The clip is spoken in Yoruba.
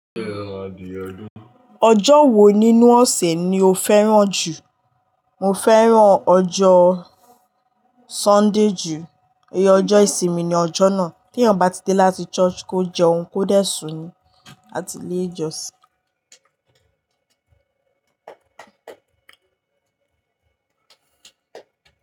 Ọjọ́ wo nínú ọ̀sẹ̀ ni o fẹ́ràn jù? Mo fẹ́ràn ọjọ́ Sunday jù. Òye ọjọ́ ìsinmi ni ọjọ́ náà, tí èyàn bá ti dé láti church kó jẹun, kó dẹ̀ sùn ní àti ilé jọ̀sìn.